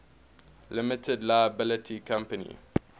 limited liability company